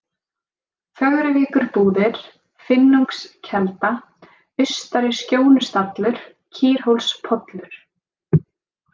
Fögruvíkurbúðir, Finnungskelda, Austari-Skjónustallur, Kýrhólspollur